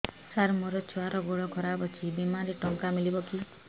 ସାର ମୋର ଛୁଆର ଗୋଡ ଖରାପ ଅଛି ବିମାରେ ଟଙ୍କା ମିଳିବ କି